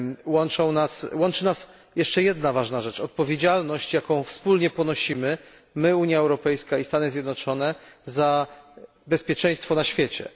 Łączy nas jeszcze jedna ważna rzecz odpowiedzialność, jaką wspólnie ponosimy my, Unia Europejska, i Stany Zjednoczone za bezpieczeństwo na świecie.